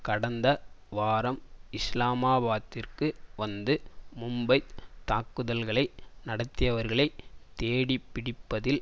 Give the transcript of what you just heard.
கடந்த வாரம் இஸ்லாமாபாத்திற்கு வந்து மும்பைத் தாக்குதல்களை நடத்தியவர்களை தேடிப்பிடிப்பதில்